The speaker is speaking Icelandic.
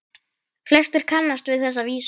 Flestir kannast við þessa vísu